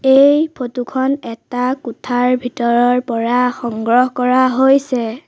এই ফটো খন এটা কোঠাৰ ভিতৰৰ পৰা সংগ্ৰহ কৰা হৈছে।